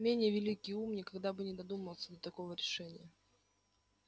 менее великий ум никогда бы не додумался до такого решения